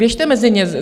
Běžte mezi ně.